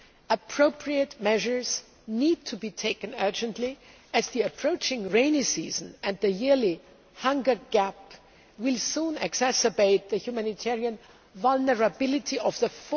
Appropriate measures need to be taken urgently, as the approaching rainy season and the yearly hunger gap will soon exacerbate the humanitarian vulnerability of the